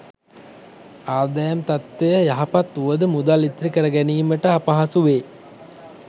ආදායම් තත්ත්වය යහපත් වුවද මුදල් ඉතිරිකර ගැනීමට අපහසුවේ.